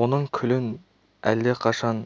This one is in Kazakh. оның күлін алдақашан